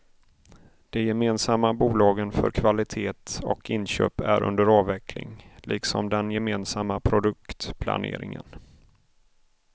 De gemensamma bolagen för kvalitet och inköp är under avveckling liksom den gemensamma produktplaneringen.